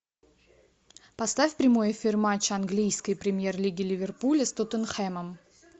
поставь прямой эфир матча английской премьер лиги ливерпуля с тоттенхэмом